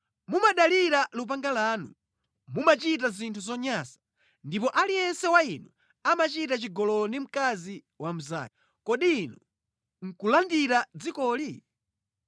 Mumadalira lupanga lanu, mumachita zinthu zonyansa, ndipo aliyense wa inu amachita chigololo ndi mkazi wa mnzake. Kodi inu nʼkulandira dzikoli?’